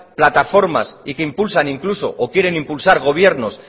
plataformas y que impulsan incluso o quieren impulsar gobiernos